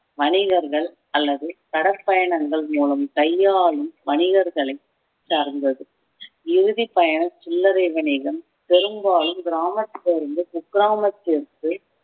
வணிகர்கள் அல்லது கடற்பயணங்கள் மூலம் கையாளும் வணிகர்களை சார்ந்தது இறுதிப் பயணம் சில்லறை வணிகம் பெரும்பாலும் கிராமத்திலிருந்து குக்கிராமத்திற்கு